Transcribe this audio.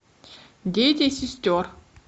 дети сестер